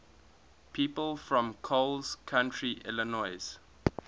people from coles county illinois